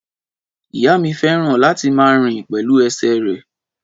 Ìyá mi fẹ́ràn láti máa rìn pẹ̀lú ẹsẹ̀ rẹ̀.